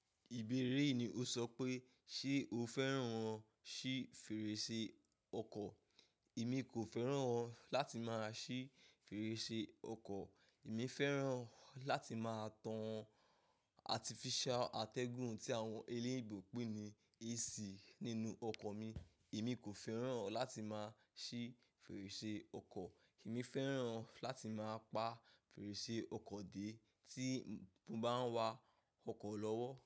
Ìbéèrè yìí ni Ò sọ pé ṣe o fẹ́ràn ṣí fèrèsé ọkọ̀? Èmi kò fẹ́ràn láti máa ṣí fèrèsé ọkọ̀. Èmi fẹ́ràn láti máa tan artificial atẹgun tí àwọn e leebo pè ní AC nínú ọkọ̀ mi. Èmi kò fẹ́ràn láti máa ṣí fèrèsé ọkọ̀. Emi fẹ́ràn láti máa pa fèrèsé ọkọ̀ dé tí mo bá ń wa ọkọ̀ lọ́wọ́.